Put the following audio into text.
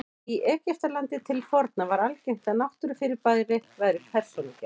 Í Egyptalandi til forna var algengt að náttúrufyrirbæri væru persónugerð.